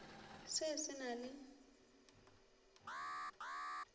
se se na le ge